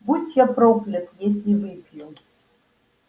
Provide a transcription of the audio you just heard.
будь я проклят если выпью